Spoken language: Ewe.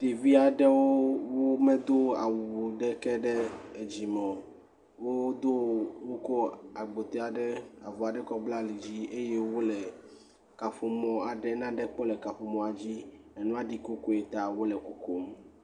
Ɖevi aɖewo womedo awu aɖeke ɖe dzime o. Wokɔ agbote, avɔ aɖe bla ali dzi eye wole nane kpɔm le kaƒomɔ aɖe dzi. Nua ɖi kokoe ta wole kokom.